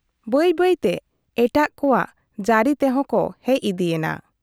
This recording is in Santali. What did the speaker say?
ᱵᱟᱹᱭ ᱵᱟᱹᱭ ᱛᱮ ᱮᱴᱟᱜ ᱠᱚᱣᱟᱜ ᱡᱟᱹᱨᱤ ᱛᱮᱦᱚᱸ ᱠᱚ ᱦᱮᱡ ᱤᱫᱤᱭᱮᱱᱟ ᱾